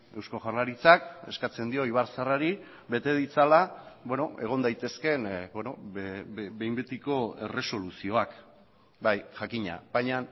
eusko jaurlaritzak eskatzen dio ibarzaharrari bete ditzala egon daitezkeen behin betiko erresoluzioak bai jakina baina